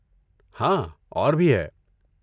ہاں، اور بھی ہے۔